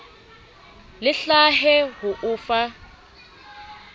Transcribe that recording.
le hlahe ho o fa